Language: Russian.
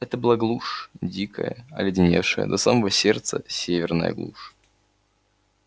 это была глушь дикая оледеневшая до самого сердца северная глушь